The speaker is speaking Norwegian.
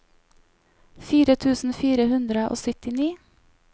fire tusen fire hundre og syttini